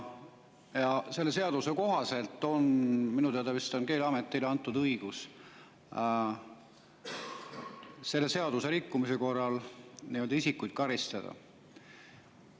Ja selle seaduse kohaselt on minu teada vist Keeleametile antud õigus selle seaduse rikkumise korral isikuid karistada.